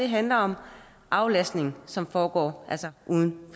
handler om aflastning som altså foregår uden